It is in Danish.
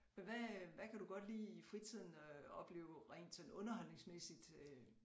Men hvad hvad kan du godt lide i fritiden at opleve rent sådan underholdningsmæssigt øh